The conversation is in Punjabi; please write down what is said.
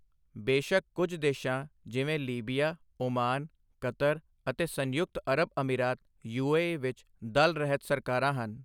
ਬੇਸ਼ੱਕ ਕੁਝ ਦੇਸ਼ਾਂ ਜਿਵੇਂ ਲੀਬੀਆ ਓਮਾਨ ਕਤਰ ਅਤੇ ਸੰਯੁਕਤ ਅਰਬ ਅਮੀਰਾਤ ਯੂਏਈ ਵਿੱਚ ਦਲ ਰਹਿਤ ਸਰਕਾਰਾਂ ਹਨ।